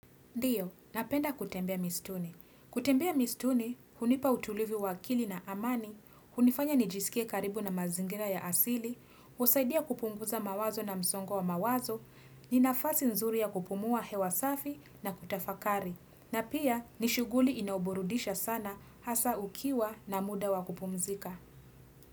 Ndio, napenda kutembea misituni. Kutembea misituni, hunipa utulivi wa akili na amani, hunifanya nijisikie karibu na mazingira ya asili, husaidia kupunguza mawazo na msongo wa mawazo, ni nafasi nzuri ya kupumua hewa safi na kutafakari, na pia ni shughuli inayoburudisha sana hasa ukiwa na muda wakupumzika.